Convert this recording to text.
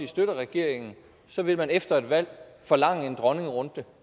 støtter regeringen så vil man efter et valg forlange en dronningerunde